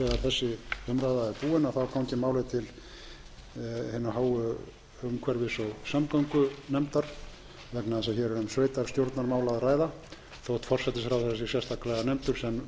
til hinnar háu umhverfis og samgöngunefndar vegna þess að hér er um sveitarstjórnarmál að ræða þó forsætisráðherra sé sérstaklega nefndur sem ætlaður ábyrgðarmaður málsins